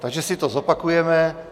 Takže si to zopakujeme.